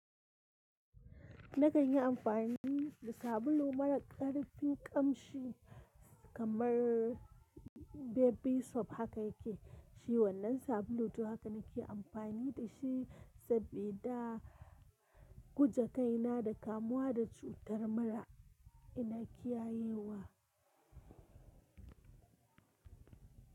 Na kan yi amfani da sabulu marar karfin kamshi kamar Baby Soft haka yake shi. Wannan sabulun to haka na ke amfani da shi sabida guje kai na da kamuwa da cutar mura ina kiyayewa.